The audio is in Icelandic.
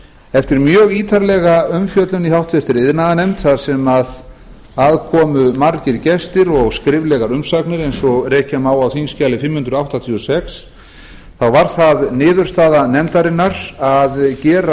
eftir mjög ítarlega umfjöllun í v iðnaðarnefnd þar sem þar komu margir gestir og skriflegar umsagnir eins og rekja má á þingskjali fimm hundruð áttatíu og sex þá varð það niðurstaða nefndarinnar að gera